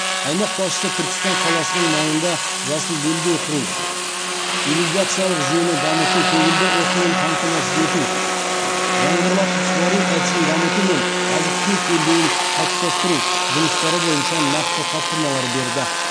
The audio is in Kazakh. аймақ басшысы түркістан қаласының маңында жасыл белдеу құру ирригациялық жүйені дамыту көгілдір отынмен қамтамасыз ету жаңбырлатып суару әдісін дамыту мен азық түлік белдеуін қалыптастыру жұмыстары бойынша нақты тапсырмалар берді